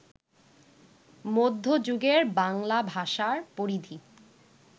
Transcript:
মধ্য যুগের বাংলা ভাষার পরিধি